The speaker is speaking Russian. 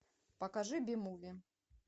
покажи би муви